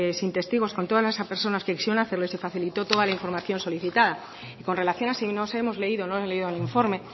sin testigos con todas esas personas que quisieron hacerlo y se facilitó toda la información solicitada y con relación a si nos hemos leído o no leído el informe